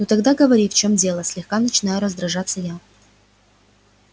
ну тогда говори в чем дело слегка начинаю раздражаться я